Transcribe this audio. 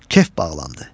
Kef bağlandı.